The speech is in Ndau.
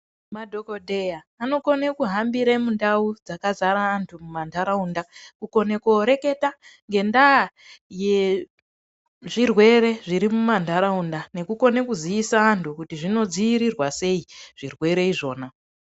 Madhokodheya anokona kuhambira mundau dzakazara antu mumandaraunda kukona kureketa ngenda yezvirwere zviri mumandaraunda nekukona kuzisa antu kuti zvinodzivirirwa sei zvirwere zvakona.